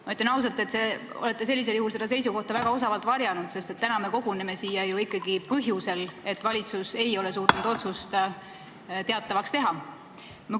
Ma ütlen ausalt, et te olete sellisel juhul seda seisukohta väga osavalt varjanud, sest täna me koguneme siia ju ikkagi põhjusel, et valitsus ei ole suutnud otsust teatavaks teha.